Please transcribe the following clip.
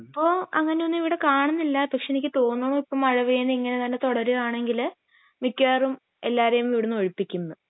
ഇപ്പൊ അങ്ങിനെ ഒന്നും ഇവിടെ കാണുന്നില്ല പക്ഷെ എനിക്ക് തോന്നുന്നത് ഇപ്പൊ മഴ പെയ്യുന്നത് ഇങ്ങനെ തന്നെ തുടരുകയാണെങ്കില് എല്ലാവരേം ഇവിടുന്ന് ഒഴിപ്പിക്കുംന്ന്